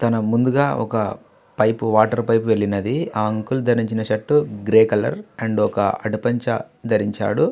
తన ముందుగా ఒక పైపు వాటర్ పైపు వెళ్ళినది. ఆ అంకుల్ ధరించిన షర్టు గ్రే కలర్ అండ్ ఒక పంచ ధరించాడు.